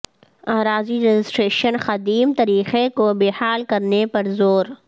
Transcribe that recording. اراضی رجسٹریشن قدیم طریقہ کو بحال کرنے پر زور